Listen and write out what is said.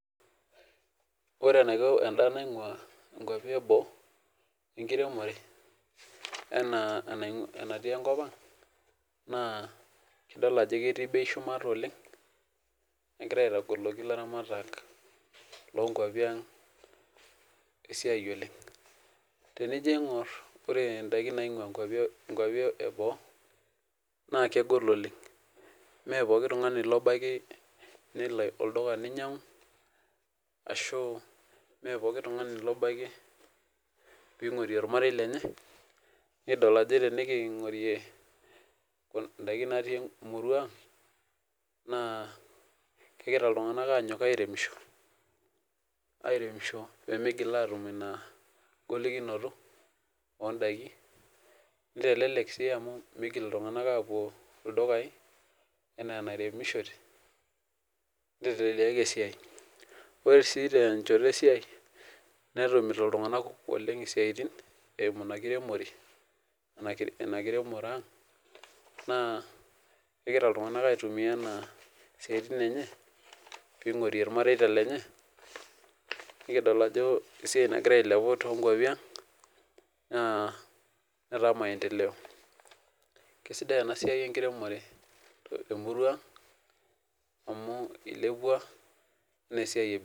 Ore enaiko endaa naingua nkwapi eboo ashu enkiremore enaa ebatii enkopang idol ajo ketii bei shumata oleng negira aitogoliki laramatak lonkwapi aang esiai oleng tenino aingur ore ndakin naingua nkwapi eboo na kegol oleng me pooki tungani obaki nelo olduka ninyangu ashu nikingorie ndakin nikitii muruan aang na kegira ltunganak airemisho pemigil atum inagolikino ondakin nitelelek si migil ltunganak apuo ldukai anaa eniremishoreki nitelelek esiai ore su tenkooitoi esiai ninoto ltunganak kumok siatin enkiremore inakiremore aang na kegira ltunganak aitumia anaa siatin enye pingurie irmareita lenye nikidol ajo esiai nagira ailepu tonkwapi aang nataa maendeleo kesidai enasia enkiremore temurua aang amu ilepua